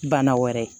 Bana wɛrɛ ye